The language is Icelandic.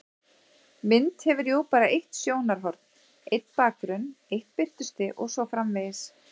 Mynd hefur jú bara eitt sjónarhorn, einn bakgrunn, eitt birtustig og svo framvegis.